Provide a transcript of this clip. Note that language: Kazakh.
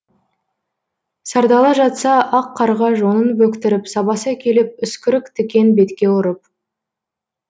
сардала жатса ақ қарға жонын бөктіріп сабаса келіп үскірік тікен бетке ұрып